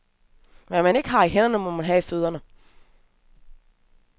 Hvad man ikke har i hænderne, må man ha i fødderne.